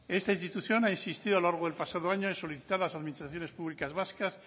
esta institución ha insistido a la largo del pasado año en solicitar a las administraciones públicas vascas